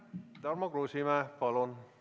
Tarmo Kruusimäe, palun!